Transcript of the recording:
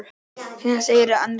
Hvað segirðu annars, kæra?